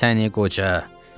Ay səni qoca.